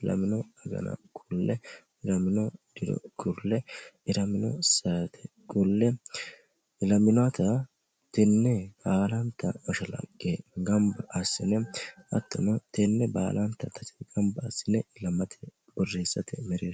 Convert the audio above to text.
ilamino agana kulle ilamino diro kulle ilamino saatee kulle ilaminota tinne baalanta mashalaqe gamba assine attono tenne baalanta mashalaqqe gamba assine ilamate borreessate mereersha